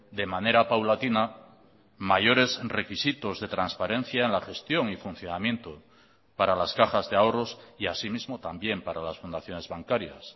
de manera paulatina mayores requisitos de transparencia en la gestión y funcionamiento para las cajas de ahorros y así mismo también para las fundaciones bancarias